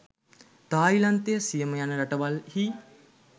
තායිලන්තය සියම යන රටවල්හි